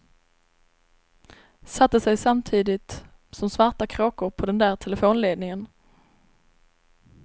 Satte sig samtidigt som svarta kråkor på den där telefonledningen.